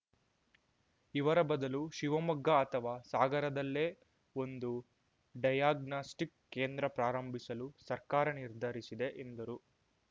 ಇವರ ಬದಲು ಶಿವಮೊಗ್ಗ ಅಥವಾ ಸಾಗರದಲ್ಲೇ ಒಂದು ಡಯಾಗ್ನಾಸ್ಟಿಕ್‌ ಕೇಂದ್ರ ಪ್ರಾರಂಭಿಸಲು ಸರ್ಕಾರ ನಿರ್ಧರಿಸಿದೆ ಎಂದರು